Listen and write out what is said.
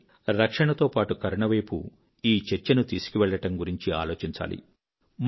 కానీ రక్షణతో పాటు కరుణ వైపు ఈ చర్చను తీసుకువెళ్ళడం గురించి ఆలోచించాలి